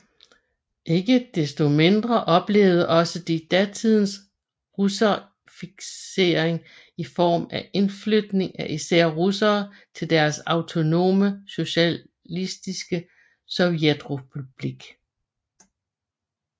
Ikke desto mindre oplevede også de datidens russificering i form af indflytning af især russere til deres autonome socialistiske sovjetrepublik